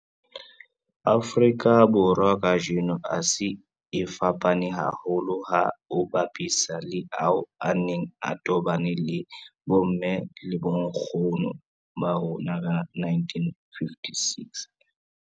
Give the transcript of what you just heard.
Afrika Borwa kajeno a se a fapane haholo ha o a bapisa le ao a neng a tobane le bomme le bonkgono ba rona ka 1956.